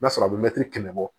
N'a sɔrɔ a bɛ mɛtiri kɛmɛ bɔ